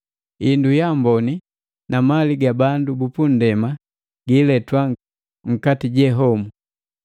Indu yaamboni na mali ga bandu bupu nndema giiletwa nkati je homu.